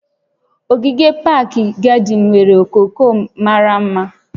Ogige pak gadịn nwere okooko mara mma